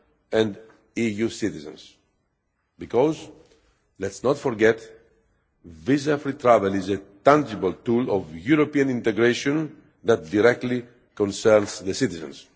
and EU citizens because, let's not forget, visa free travel is a tangible tool of European integration that directly concerns the citizens.